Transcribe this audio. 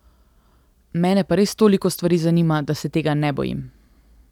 Mene pa res toliko stvari zanima, da se tega ne bojim.